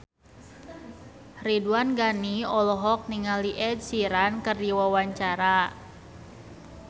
Ridwan Ghani olohok ningali Ed Sheeran keur diwawancara